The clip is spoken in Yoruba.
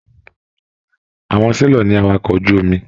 Àwọn selọ̀ ní àwàkọ̀ ojú omi.